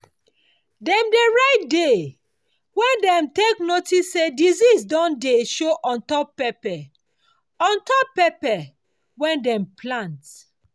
dem dey write day wen dem take notice say disease don dey show on top pepper on top pepper wehn dem plant.